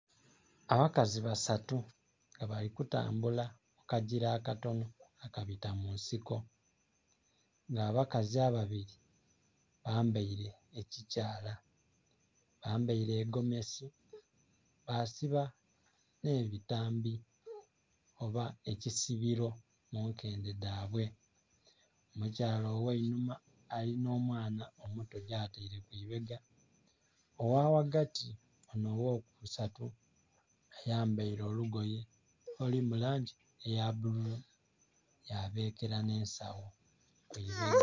Abakazi basatu nga balikutambula akajira akatonho akabita munsiko nga abakazi ababiri bambeire ekyikyala bambeire egomesi basiba nhebitambi oba ekisibiro munkende dhabwe omukyaala oghanhuma alinha omwaana omuto yatere kwiibega oghaghagati onho oghokusatu ayambere olugoye olulimulangyi eyabululu yabekera nansagho kubega